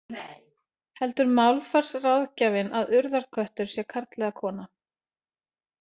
Heldur málfarsráðgjafinn að Urðarköttur sé karl eða kona?